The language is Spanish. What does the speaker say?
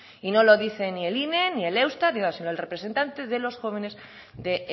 y no lo dice ni el ine ni el eustat sino el representante de los jóvenes de